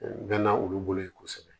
N bɛ na olu bolo yen kosɛbɛ